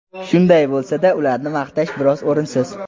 Shunday bo‘lsa-da, ularni maqtash biroz o‘rinsiz.